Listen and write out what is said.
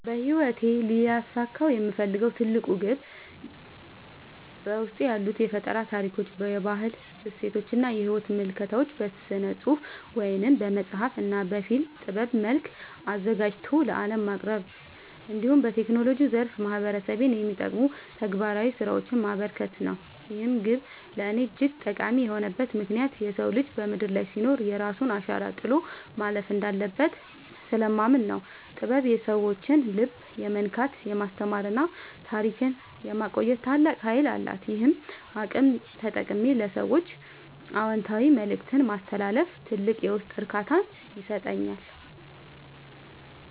በሕይወቴ ሊያሳካው የምፈልገው ትልቁ ግብ በውስጤ ያሉትን የፈጠራ ታሪኮች፣ የባህል እሴቶችና የሕይወት ምልከታዎች በሥነ-ጽሑፍ (በመጽሐፍ) እና በፊልም ጥበብ መልክ አዘጋጅቶ ለዓለም ማቅረብ፣ እንዲሁም በቴክኖሎጂው ዘርፍ ማኅበረሰቤን የሚጠቅሙ ተግባራዊ ሥራዎችን ማበርከት ነው። ይህ ግብ ለእኔ እጅግ ጠቃሚ የሆነበት ምክንያት የሰው ልጅ በምድር ላይ ሲኖር የራሱን አሻራ ጥሎ ማለፍ እንዳለበት ስለማምን ነው። ጥበብ የሰዎችን ልብ የመንካት፣ የማስተማርና ታሪክን የማቆየት ታላቅ ኃይል አላት፤ ይህንን አቅም ተጠቅሜ ለሰዎች አዎንታዊ መልእክት ማስተላለፍ ትልቅ የውስጥ እርካታን ይሰጠኛል።